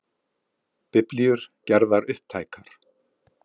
Biblíur gerðar upptækar